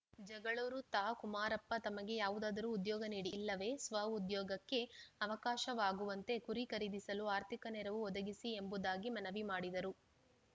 ಜಗಳೂರು ತಾ ಕುಮಾರಪ್ಪ ತಮಗೆ ಯಾವುದಾದರೂ ಉದ್ಯೋಗ ನೀಡಿ ಇಲ್ಲವೇ ಸ್ವಉದ್ಯೋಗಕ್ಕೆ ಅವಕಾಶವಾಗುವಂತೆ ಕುರಿ ಖರೀದಿಸಲು ಆರ್ಥಿಕ ನೆರವು ಒದಗಿಸಿ ಎಂಬುದಾಗಿ ಮನವಿ ಮಾಡಿದರು